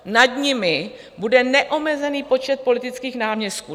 Nad nimi bude neomezený počet politických náměstků.